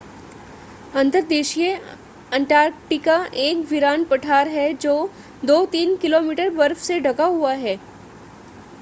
अंतर्देशीय अंटार्कटिका एक वीरान पठार है जो 2-3 किमी बर्फ से ढका हुआ है